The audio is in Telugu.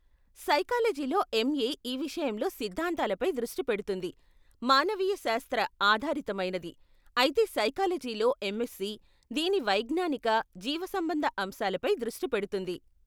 సైకాలజీలో ఎంఏ ఈ విషయంలో సిద్ధాంతాలపై దృష్టి పెడుతుంది, మానవీయ శాస్త్ర ఆధారితమైనది, అయితే సైకాలజీలో ఎంఎస్సీ దీని వైజ్ఞానిక, జీవసంబంధ అంశాలపై దృష్టి పెడుతుంది.